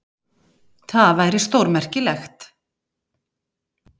Það væri stórmerkilegt.